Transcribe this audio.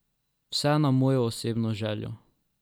Vse na mojo osebno željo.